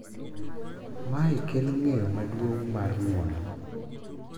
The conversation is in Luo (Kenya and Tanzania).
Mae kelo ng’eyo maduong’ mar ng’uono,